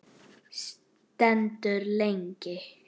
Stendur lengi.